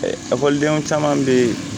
Ekɔlidenw caman bɛ yen